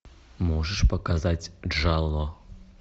можешь показать джало